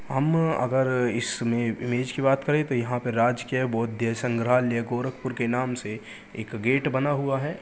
हम अगर इसमें इमेज की बात करे तो यहाँ पे राजकीय बोध्य संग्रहालय गोरखपुर के नाम से एक गेट बना हुआ है।